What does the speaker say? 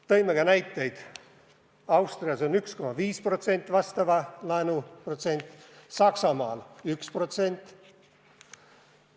Tõime ka näiteid: Austrias on 1,5% samasuguse laenu protsent, Saksamaal 1%.